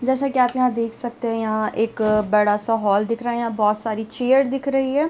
जैसा की आप यहाँ देख सकते हैं यहाँ एक बड़ा सा हॉल दिख रहा है यहाँ बहुत सारी चेयर् दिख रही हैं।